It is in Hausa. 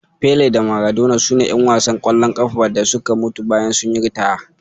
Pele da Maradona sune ƴan wasan ƙwallon ƙafa da suka mutu bayan sun yi ritaya.